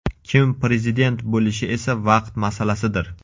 Kim prezident bo‘lishi esa vaqt masalasidir.